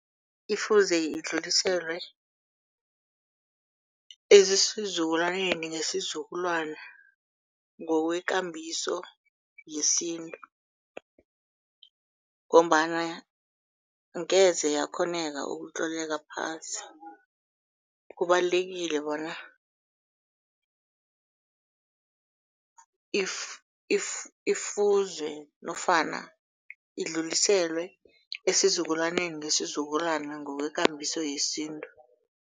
Ifuze idluliselwe ezisizukulwaneni ngesizukulwana ngokwekambiso yesintu ngombana angeze yakghoneka ukutloleka phasi, kubalulekile bona ifuze nofana idluliselwe esizukulwaneni ngesizukulwana ngokwekambiso yesintu.